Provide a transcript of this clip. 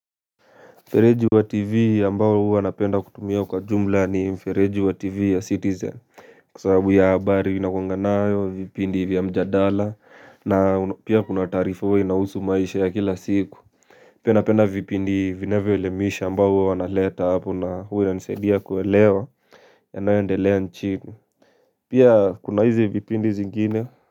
Mfereji wa tv ambao huwa napenda kutumia kwa jumla ni mfereji wa tv ya citizen kwa sababu ya habari inakuanga nayo vipindi vya mjadala na pia kuna taarifa huwa inahusu maisha ya kila siku. Pia napenda vipindi vinavyoelimisha ambao huwa wanaleta hapo na huwa inanisaidia kuelewa yanayoendelea nchini. Pia kuna hizi vipindi zingine.